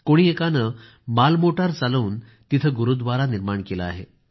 कोणी एकानं मालमोटार चालवून तिथं गुरूव्दारा निर्माण केले आहे